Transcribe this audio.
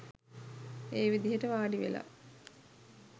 ඒ විදිහට වාඩිවෙලා